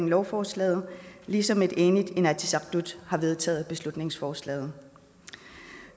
lovforslaget ligesom et enigt inatsisartut har vedtaget beslutningsforslaget